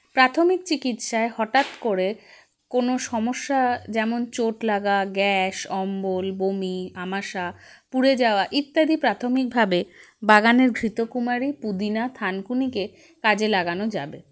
প্রাথমিক চিকিৎসায় হঠাৎ করে কোনো সমস্যা যেমন চোট লাগা gas অম্বল বমি আমাশা পুড়ে যাওয়া ইত্যাদি প্রাথমিকভাবে বাগানের ঘৃতকুমারী পুদিনা থানকুনিকে কাজে লাগানো যাবে